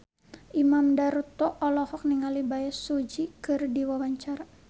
Imam Darto olohok ningali Bae Su Ji keur diwawancara